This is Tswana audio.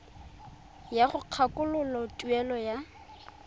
ya go kgakololo tuelo ya